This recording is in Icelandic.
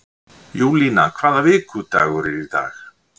Júlína, hvaða vikudagur er í dag?